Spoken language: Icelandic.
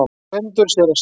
GVENDUR: Séra Sigurður!